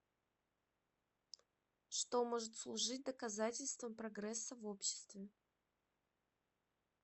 что может служить доказательством прогресса в обществе